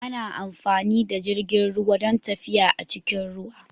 Ana amfani da jirgin ruwa don tafiya a cikin ruwa.